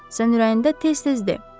Sən ürəyində tez-tez de: